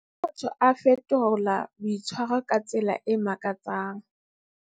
Ha motho a fetola boitshwaro ka tsela e makatsang.